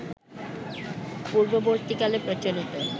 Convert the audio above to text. পূর্ববর্তীকালে প্রচলিত